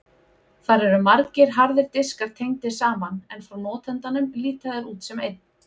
Þar eru margir harðir diskar tengdir saman en frá notandanum líta þeir út sem einn.